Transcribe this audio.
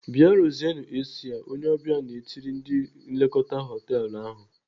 "Bịa ruzienu AC a!" Onye ọbịa na-etiri ndị nlekọta họtelu ahụ.